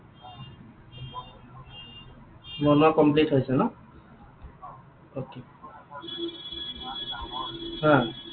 বনোৱা complete হৈছে ন?